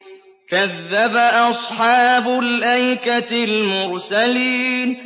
كَذَّبَ أَصْحَابُ الْأَيْكَةِ الْمُرْسَلِينَ